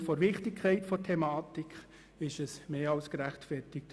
Aufgrund der Wichtigkeit der Thematik ist das mehr als gerechtfertigt.